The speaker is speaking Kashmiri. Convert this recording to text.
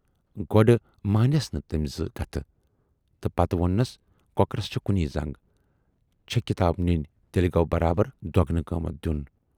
گۅڈٕ مٲنیَس نہٕ تمٔۍ زٕ کتھٕ تہٕ پَتہٕ ووننس"کۅکرس چھے کُنۍ زنگ، چھے کِتاب نِنۍ تیلہِ گَو برابر دۅگنہٕ قۭمتھ دِیُن۔